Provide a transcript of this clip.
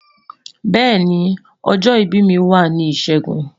beeni, ojo ibi mi wa ni Ishegun